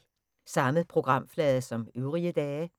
Samme programflade som øvrige dage